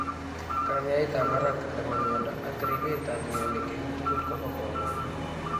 Kanyaeet ab barak nebo miondo ak ribeet ab mioniik eng' tugul kobo komonut